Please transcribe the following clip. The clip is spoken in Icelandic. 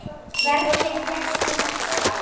Hvernig fékkstu þetta sár?